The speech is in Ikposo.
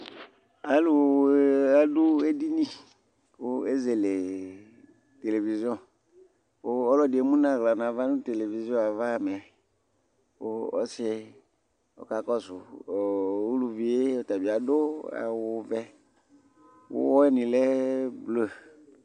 alò adu edini kò ezele televizion kò ɔlò ɛdi emu n'ala n'ava no televizion yɛ kò ɔsi ɔka kɔsu uluvi yɛ ɔtabi adu awu vɛ kò uwɔ ni lɛ blu